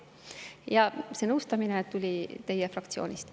Ja see nõustamine tuli teie fraktsioonist.